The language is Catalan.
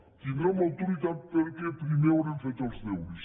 en tindrem l’autoritat perquè primer haurem fet els deures